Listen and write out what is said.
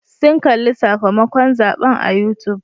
Sun kalli sakamakon zaɓen a youtube.